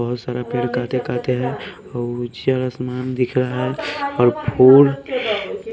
बहुत सारा पेड़ काते काते हैं और आसमान दिख रहा है और फूल--